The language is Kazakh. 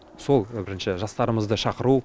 сол бірінші жастарымызды шақыру